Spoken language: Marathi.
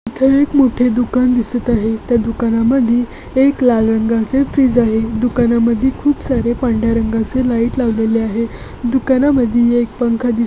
खूप मोठे दुकान दिसत आहे. त्या दुकानामध्ये एक लाल रंगाचे फ्रीज आहे. दुकानामध्ये खूप सारे पांढर्‍या रंगाचे लाइट लावलेले आहे. दुकानामध्ये एक पंखा दिसत आहे.